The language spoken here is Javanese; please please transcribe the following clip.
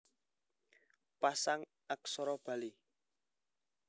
Pasang Aksara Bali